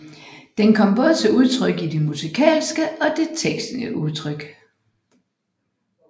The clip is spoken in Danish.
Den kommer både til udtryk i det musikalske og det tekstlige udtryk